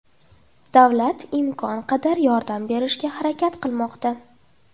Davlat imkon qadar yordam berishga harakat qilmoqda.